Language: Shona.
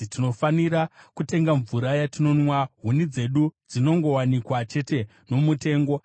Tinofanira kutenga mvura yatinonwa; huni dzedu dzinongowanikwa chete nomutengo.